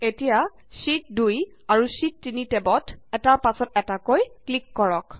এতিয়া শ্যিট 2 আৰু শ্যিট 3 টেবত এটাৰ পাছত এটাকৈ ক্লিক কৰা